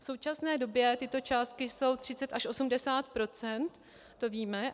V současné době tyto částky jsou 30-80 %, to víme.